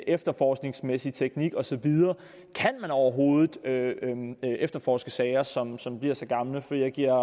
efterforskningsmæssig teknik og så videre kan man overhovedet efterforske sager som som bliver så gamle for jeg giver